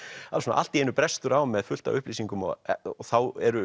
allt í einu brestur á með fullt af upplýsingum og þá eru